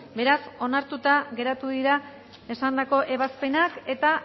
beraz onartuta geratu dira esandako ebazpenak eta